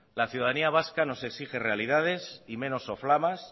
la ciudadanía vasca nos exige realidades y menos soflamas